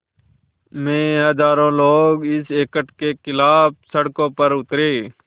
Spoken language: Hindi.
में हज़ारों लोग इस एक्ट के ख़िलाफ़ सड़कों पर उतरे